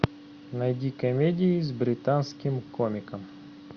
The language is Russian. найди комедии с британским комиком